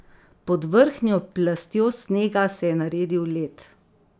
Pod vrhnjo plastjo snega se je naredil led.